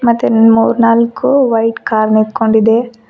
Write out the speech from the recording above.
ಮತ್ತೆ ಇನ್ನೊಂದ್ ಮೂರ್ನಾಲ್ಕು ವೈಟ್ ಕಾರ್ ನಿಂತ್ಕೊಂಡಿದೆ.